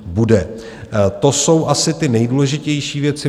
To jsou asi ty nejdůležitější věci.